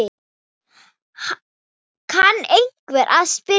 kann einhver að spyrja.